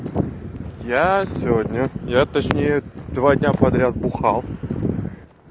я сегодня я точнее два дня подряд бухал